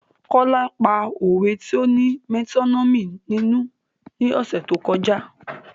Kola pa òwe ti o ní metonymi nínú ni ọ̀sẹ̀ tó kọjá